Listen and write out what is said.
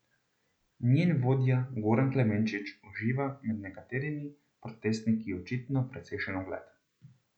Njen vodja Goran Klemenčič uživa med nekaterimi protestniki očitno precejšen ugled.